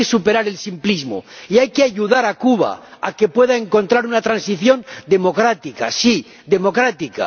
Hay que superar el simplismo y hay que ayudar a Cuba a que pueda encontrar una transición democrática, sí, democrática.